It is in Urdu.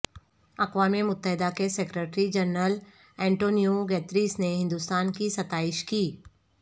اقوام متحدہ کے سکریٹری جنرل اینٹونیو گتیریس نے ہندوستان کی ستائش کی